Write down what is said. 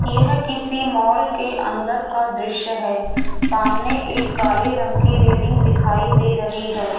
यह किसी मॉल के अंदर का दृश्य है सामने एक काले रंग की रेलिंग दिखाई दे रही है।